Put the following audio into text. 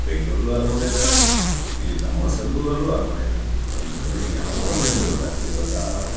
ಬೆಂಗಳೂರ್ ಅಲ್ಲೂ ಅರಮನೆ ಇದೆ ಇಲ್ಲಿ ನಮ್ಮ ಸಣ್ಣ ಊರಲ್ಲೂ ಅರಮನೆ ಇದೆ ಬಟ್ ಇದು ಯಾವ ಅರಮನೆ ಅಂತ ಗೊತ್ತಾಗ್ತಿಲ್ವಲ್ಲಾ .